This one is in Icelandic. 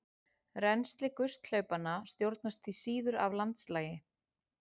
Rennsli gusthlaupanna stjórnast því síður af landslagi.